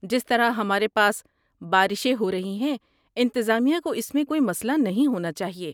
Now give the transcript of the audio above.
جس طرح ہمارے پاس بارشیں ہو رہی ہیں، انتظامیہ کو اس میں کوئی مسئلہ نہیں ہونا چاہیے۔